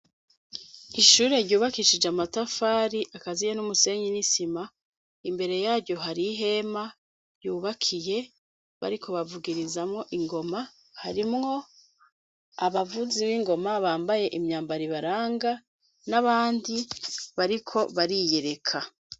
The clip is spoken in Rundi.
Ishure ryubakishije amatafari akaziye n'umusenyi n'isima imbere yaryo hari ihema yubakiye bariko bavugirizamwo ingoma harimwo abavuzi b'ingoma bambaye imyambaribaranga n'abandi bariko bariyereka.